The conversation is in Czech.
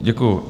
Děkuju.